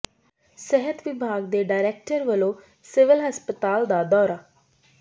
ਸਿਹਤ ਵਿਭਾਗ ਦੇ ਡਾਇਰੈਕਟਰ ਵਲੋਂ ਸਿਵਲ ਹਸਪਤਾਲ ਦਾ ਦੌਰਾ